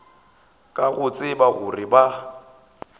ka go tseba gore ba